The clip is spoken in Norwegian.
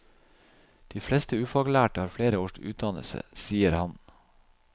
De fleste ufaglærte har flere års utdannelse, sier han.